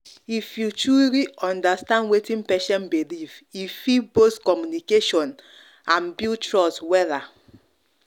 if you truly understand wetin patient believe e fit boost communication and build trust wella.